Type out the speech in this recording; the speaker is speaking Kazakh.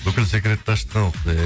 бүкіл секретті аштың ау құдай ай